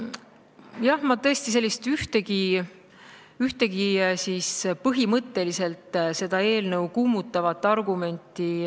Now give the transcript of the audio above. Jah, ma tõesti ei ole kuulnud ühtegi põhimõtteliselt seda eelnõu kummutavat argumenti.